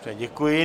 Děkuji.